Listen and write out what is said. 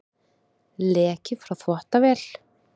Leki frá þvottavél